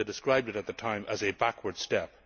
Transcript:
They described it at the time as a backward step.